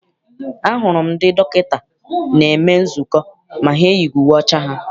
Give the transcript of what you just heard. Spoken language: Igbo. A hụrụ m ndị dọkịta na-eme nzukọ ma ha eyighị uwe ọcha ha.